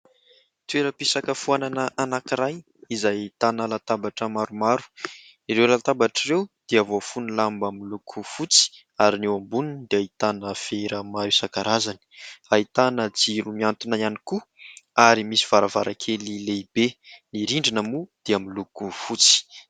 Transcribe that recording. Toeram-pisakafoanana anankiray izay ahitana latabatra maromaro. Ireo latabatra ireo dia voafono lamba miloko fotsy, ary ny eo amboniny dia ahitana vera maro isan-karazany, ahitana jiro mihantona ihany koa, ary misy varavarankely lehibe, ny rindrina moa dia miloko fotsy.